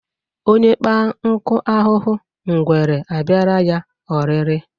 Onye kpa nkụ ahụhụ ngwere abịara ya oriịrɨ